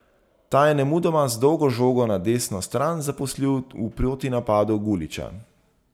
Ta je nemudoma z dolgo žogo na desno stran zaposlil v protinapadu Guliča.